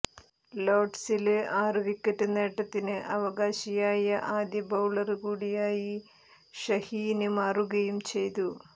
ലോര്ഡ്സില് ആറു വിക്കറ്റ് നേട്ടത്തിന് അവകാശിയായ ആദ്യ ബൌളര് കൂടിയായി ഷഹീന് മാറുകയും ചെയ്തു